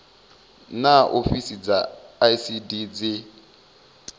naa ofisi dza icd dzi